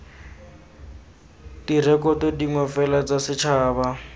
direkoto dingwe fela tsa setšhaba